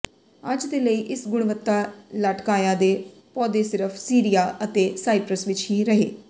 ਅੱਜ ਦੇ ਲਈ ਇਸ ਗੁਣਵੱਤਾ ਲਾਟਕਾਆ ਦੇ ਪੌਦੇ ਸਿਰਫ ਸੀਰੀਆ ਅਤੇ ਸਾਈਪ੍ਰਸ ਵਿੱਚ ਹੀ ਰਹੇ